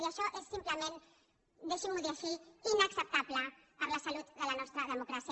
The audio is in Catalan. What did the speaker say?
i això és simplement deixi m’ho dir així inacceptable per la salut de la nostra democràcia